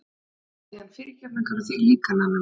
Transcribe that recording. Ég þarf að biðja hann fyrirgefningar og þig líka, Nanna mín.